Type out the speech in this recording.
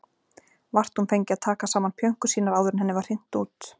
Vart hún fengi að taka saman pjönkur sínar áður en henni var hrint út.